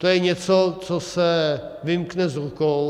To je něco, co se vymkne z rukou.